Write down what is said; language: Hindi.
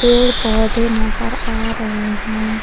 पेड़ पौधे नजर आ रहे हैं।